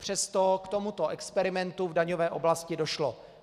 Přesto k tomuto experimentu v daňové oblasti došlo.